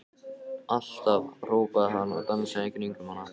Alltaf! hrópaði hann og dansaði í kringum hana.